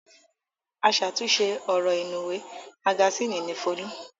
Aṣàtúnṣe ọ̀rọ̀ inúùwé magasínì ni Folú.